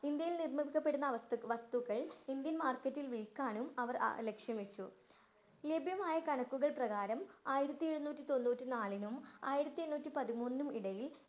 ഇന്ത്യയില്‍ നിര്‍മ്മിക്കപ്പെടുന്ന വസ്തു വസ്തുക്കള്‍ ഇന്ത്യന്‍ market ഇല്‍ വില്‍ക്കാനും അവര്‍ ലക്ഷ്യം വച്ചു. ലഭ്യമായ കണക്കുകള്‍ പ്രകാരം ആയിരത്തി എഴുന്നൂറ്റി തൊണ്ണൂറ്റി നാലിനും ആയിരത്തി എണ്ണൂറ്റി പതിമൂന്നിനും ഇടയില്‍